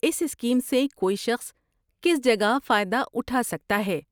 اس scheme سے کوئی شخص کس جگہ فائدہ اٹھا سکتا ہے؟